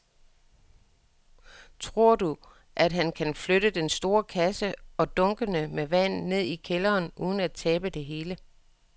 Tror du, at han kan flytte den store kasse og dunkene med vand ned i kælderen uden at tabe det hele?